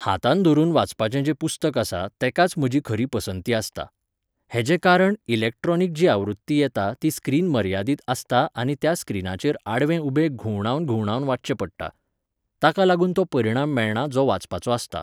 हातान धरून वाचपाचें जें पुस्तक आसा तेकाच म्हजी खरी पसंती आसता. हेजे कारण इलेक्ट्रोनीक जी आवृत्ती येता ती स्क्रीन मर्यादीत आसता आनी त्या स्क्रिनाचेर आडवे उबे घुंवडावन घुंवडावन वाचचें पडटा. ताका लागून तो परिणाम मेळना जो वाचपाचो आसता.